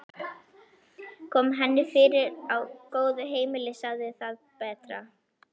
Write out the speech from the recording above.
Kom henni fyrir á góðu heimili, sagði það betra.